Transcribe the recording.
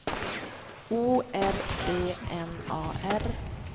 O R D N A R